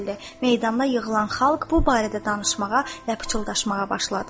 Meydanda yığılan xalq bu barədə danışmağa və pıçıldaşmağa başladı.